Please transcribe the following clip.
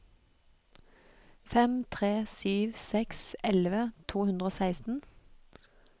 fem tre sju seks elleve to hundre og seksten